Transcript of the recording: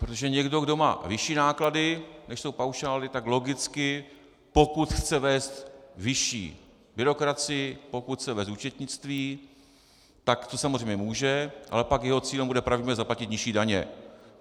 Protože někdo, kdo má vyšší náklady, než jsou paušály, tak logicky pokud chce vést vyšší byrokracii, pokud chce vést účetnictví, tak to samozřejmě může, ale pak jeho cílem bude pravděpodobně zaplatit nižší daně.